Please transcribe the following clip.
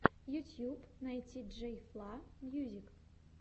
ютьюб найти джей фла мьюзик